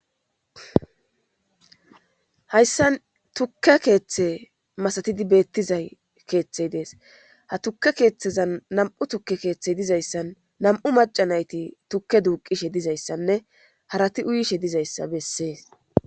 hayssan tukke keeththe masatidi beettiza keeththey dees ha tukke keeththeza nam'u tukke keeththey dizayssan nam'u macanayti tukke duuqishe dizayssanne harati uuyishshe dizayssa bessees